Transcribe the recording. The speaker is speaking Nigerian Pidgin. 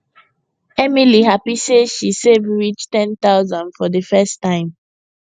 emily happy say she save reach 10000 for the first time